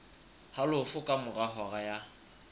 halofo ka mora hora ya